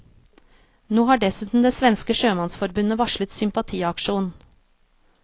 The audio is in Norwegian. Nå har dessuten det svenske sjømannsforbundet varslet sympatiaksjon.